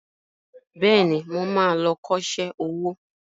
Bẹ́ẹ̀ni, mo ma lọ kọ́ṣẹ́ owó